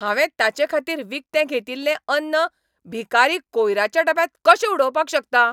हांवें ताचेखातीर विकतें घेतिल्लें अन्न भिकारी कोयराच्या डब्यांत कशें उडोवपाक शकता?